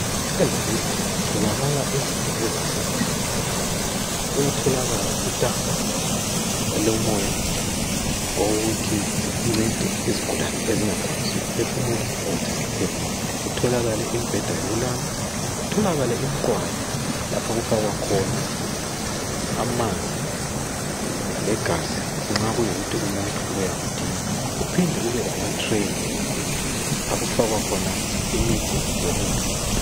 Ezibhedlela kuyatholakala izinto ezahlukehlukeneyo. Kuyatholakala itanka elomoya, okokuthi lincede izigulane ezingakwanisi ukuphefumula , ukuthi ziphefumule. Kutholakale imbheda yokulala. Kutholakale imiqwayi lapha okufakwa khona amanzi legazi nxa kuyikuthi umuntu uyakudinga. Kuphinde kubelamatreyi, lapho okufakwa khona imithi lokudla.